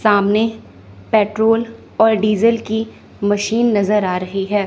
सामने पेट्रोल और डीजल की मशीन नजर आ रही है।